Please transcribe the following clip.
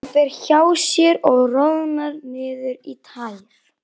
Hann fer hjá sér og roðnar niður í tær.